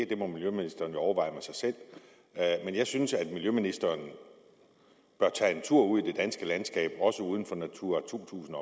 det må miljøministeren jo overveje med sig selv men jeg synes at miljøministeren bør tage en tur ud i det danske landskab også uden for natura to tusind